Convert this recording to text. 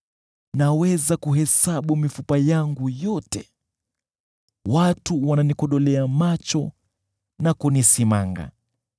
Naweza kuhesabu mifupa yangu yote, watu wananikodolea macho na kunisimanga.